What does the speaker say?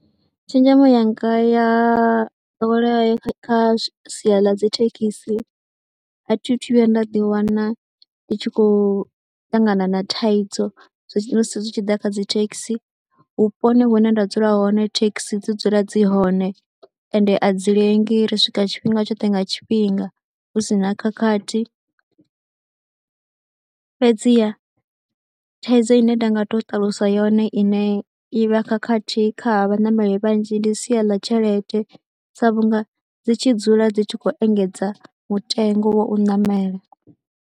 Tshenzhemo yanga ya ḓowelea kha sia ḽa dzi thekhisi a thi thu vhuya nda ḓiwana ndi tshi khou ṱangana na thaidzo, zwa musi zwithu zwi tshi ḓa kha dzi thekhisi. Vhuponi hune nda dzula hone thekhisi dzi dzula dzi hone ende a dzi lengi, ri swika tshifhinga tshoṱhe nga tshifhinga hu si na khakhathi. Fhedziha thaidzo ine nda nga tou ṱalusa yone iṋe i vha khakhathi kha vhaṋameli vhanzhi ndi sia ḽa tshelede, sa vhunga dzi tshi dzula dzi tshi khou engedza mutengo wo u ṋamela.